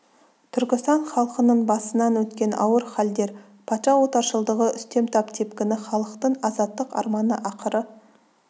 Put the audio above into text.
түркістан халқының басынан өткен ауыр халдер патша отаршылдығы үстем тап тепкіні халықтың азаттық арманы ақыры